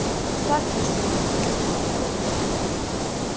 Ferguson vill kaupa þrjá leikmenn